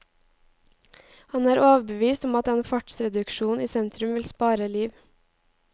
Han er overbevist om at en fartsreduksjon i sentrum vil spare liv.